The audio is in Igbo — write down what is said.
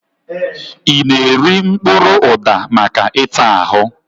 I na-eri mkpụrụ ụda maka ịta ahụ?